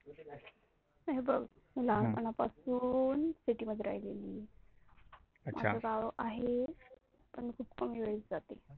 हे बघ, मला मला लहान पण पासुन city मध्ये राहलेली आहे. माझ गाव आहे पण खुप कमी वेळी जाते.